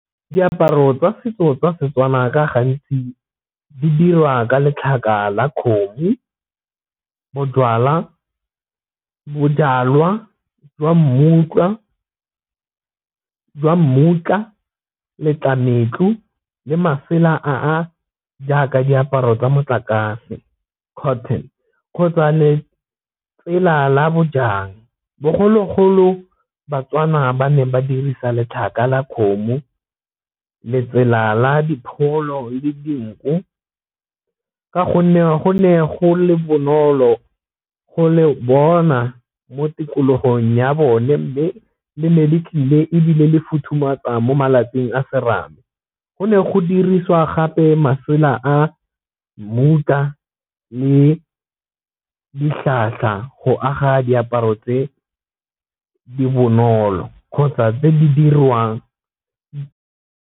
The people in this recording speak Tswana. Diaparo tsa setso tsa Setswana ka gantsi di dira ka letlhaka la kgomo, bojalwa jwa mmutla, letlametlo le masela a a jaaka diaparo tsa motlakase cotton kgotsa le tsela la bojang. Bogologolo baTswana ba ne ba dirisa letlhaka la kgomo, letsela la dipholo le dinku ka gonne go ne go le bonolo go le bona mo tikologong ya bone Mme le ne le tlile ebile le futhumatsa mo malapeng a serame. Go ne go dirisiwa gape masela a mmutla le go aga diaparo tse di bonolo kgotsa tse di dirwang.